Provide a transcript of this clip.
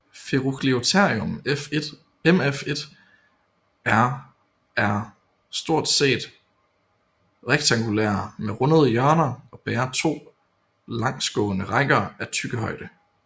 Ferugliotherium mf1er er stort set rektangulære med rundede hjørner og bærer to langsgående rækker af tyggehøje